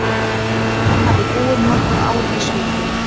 Fólkið hafði búið nokkur ár í Svíþjóð.